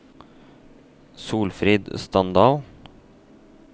Solfrid Standal